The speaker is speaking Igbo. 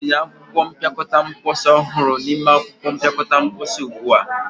tinye akwụkwọ mpịakọta mposi ọhụrụ n'ime akwụkwọ mpịakọta mposi ugbu a!